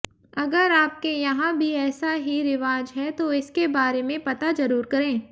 अगर आपके यहां भी ऐसा ही रिवाज है तो इसके बारे में पता जरूर करें